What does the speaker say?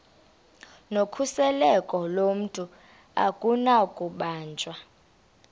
nokhuseleko lomntu akunakubanjwa